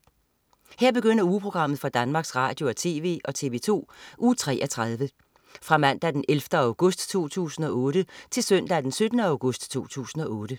Her begynder ugeprogrammet for Danmarks Radio- og TV og TV2 Uge 33 Fra Mandag den 11. august 2008 Til Søndag den 17. august 2008